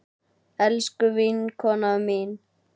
Elsku vinkona mín.